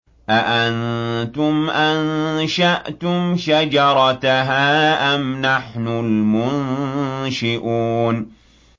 أَأَنتُمْ أَنشَأْتُمْ شَجَرَتَهَا أَمْ نَحْنُ الْمُنشِئُونَ